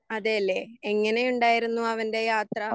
അതേല്ലേ എങ്ങനെയുണ്ടായിരുന്നു അവൻ്റെ യാത്ര?